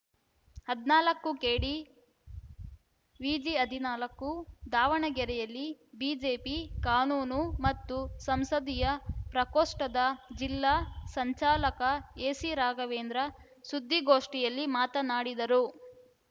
ಹದನಾಲ್ಕು KDVG ಹದನಾಲ್ಕು ದಾವಣಗೆರೆಯಲ್ಲಿ BJP ಕಾನೂನು ಮತ್ತು ಸಂಸದೀಯ ಪ್ರಕೋಷ್ಟದ ಜಿಲ್ಲಾ ಸಂಚಾಲಕ ಎಸಿರಾಘವೇಂದ್ರ ಸುದ್ದಿಗೋಷ್ಠಿಯಲ್ಲಿ ಮಾತನಾಡಿದರು